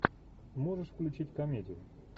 можешь включить комедию